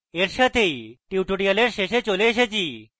এর সাথেই আমরা tutorial শেষে চলে এসেছি